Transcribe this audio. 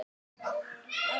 Á hinn bóginn er